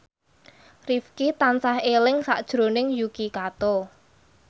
Rifqi tansah eling sakjroning Yuki Kato